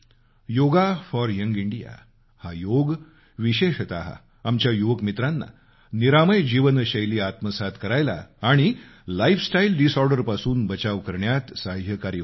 yoga for young India हा योग विशेषत आमच्या युवक मित्रांना निरामय जीवनशैली आत्मसात करायला आणि लाईफस्टाईल डिसऑर्डरपासून बचाव करण्यात साह्यकारी होईल